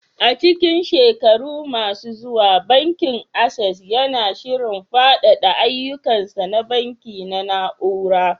A cikin shekaru masu zuwa, Bankin Access yana shirin faɗaɗa ayyukansa na banki na na'ura.